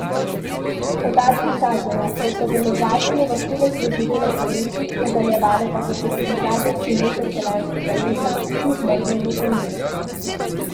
Podatki kažejo, da so deložacije vrhunec doživele poleti, nadaljevale pa so se tudi zadnje tri mesece lanskega leta kljub mrzlemu vremenu.